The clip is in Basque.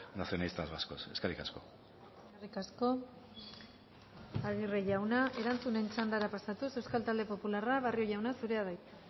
nacionalistas vascos eskerrik asko eskerrik asko aguirre jauna erantzunen txandara pasatuz euskal talde popularra barrio jauna zurea da hitza